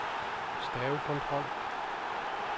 stavekontrol